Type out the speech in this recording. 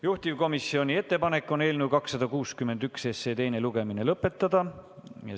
Juhtivkomisjoni ettepanek on eelnõu 261 teine lugemine lõpetada.